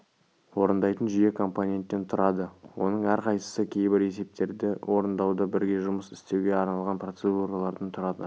орындайтын жүйе компоненттен тұрады оның әрқайсысы кейбір есептерді орындауда бірге жұмыс істеуге арналған процедуралардан тұрады